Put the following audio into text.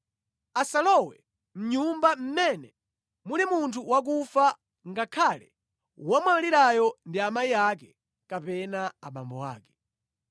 Asalowe mʼnyumba mmene muli munthu wakufa ngakhale womwalirayo ndi amayi ake kapena abambo ake.